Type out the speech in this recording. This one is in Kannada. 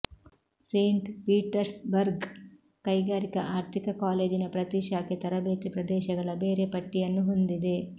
ಸೇಂಟ್ ಪೀಟರ್ಸ್ಬರ್ಗ್ ಕೈಗಾರಿಕಾ ಆರ್ಥಿಕ ಕಾಲೇಜಿನ ಪ್ರತಿ ಶಾಖೆ ತರಬೇತಿ ಪ್ರದೇಶಗಳ ಬೇರೆ ಪಟ್ಟಿಯನ್ನು ಹೊಂದಿದೆ